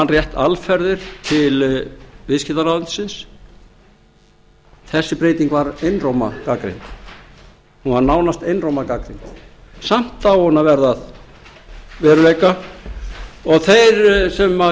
rétt alferðir til viðskiptaráðuneytisins þessi breyting var einróma gagnrýnd hún var nánast einróma gagnrýnd samt á hún að verða að veruleika og þeir sem